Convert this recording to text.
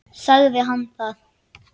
Sagði hann það?